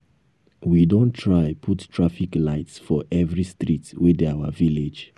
we don try put traffic lights for every street wey dey our village